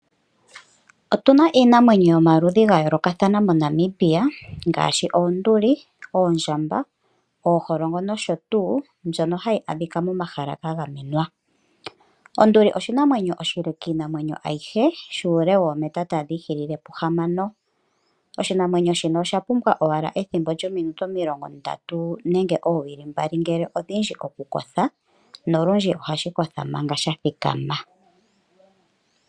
Otu na iinamwenyo yomaludhi ga yoolokathana moNamibia ngaashi oonduli, oondjamba, ooholongo nosho tuu mbyono hayi a dhika momahala ga gamenwa. Onduli oshinamwenyo oshile kiinamwenyo ayihe shuule woometa tadhi I hilile puhamano. Oshinamwenyo shino osha pumbwa owala ethimbo lyominute omilongo ndatu nenge oowili mbali ngele odhindji oku Kotha nolundji ohashi kotha ngaaka sha thikama.